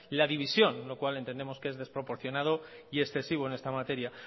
la división lo cual entendemos que es desproporcionado y excesivo en esta materia